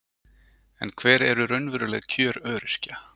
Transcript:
En hver eru raunveruleg kjör öryrkja?